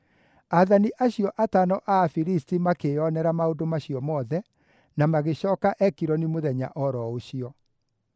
Aathani acio atano a Afilisti makĩĩonera maũndũ macio mothe, na magĩcooka Ekironi mũthenya o ro ũcio.